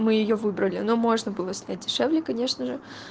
мы её выбрали но можно было снять дешевле конечно же